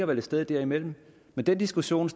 vel et sted derimellem men den diskussion